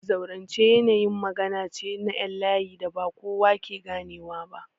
Zaurance yanayin magana ce na ƴan layi da ba kowa ke ganewa ba.